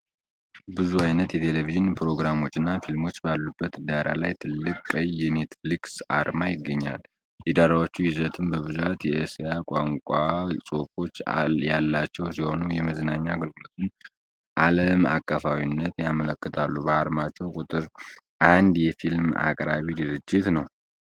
ብዙ ዓይነት የቴሌቪዥን ፕሮግራሞችና ፊልሞች ባሉበት ዳራ ላይ ትልቁ ቀይ የኔትፍሊስ አርማ ይገኛል። የዳራዎቹ ይዘቶች በብዛት የእስያ ቋንቋ ጽሑፎች ያላቸው ሲሆኑ፣ የመዝናኛ አገልግሎቱን ዓለም አቀፋዊነት ያመለክታሉ። በአለማችን ቁጥር አንድ የ ፊልም አቅራቢ ድርጅት ነው።